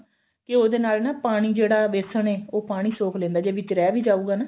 ਘਿਓ ਦੇ ਨਾਲ ਨਾ ਪਾਣੀ ਜਿਹੜਾ ਵੇਸਣ ਏ ਉਹ ਪਾਣੀ ਸੋਖ ਲੈਂਦਾ ਜੇ ਵਿੱਚ ਰਿਹ ਵੀ ਜਾਉਗਾ ਨਾ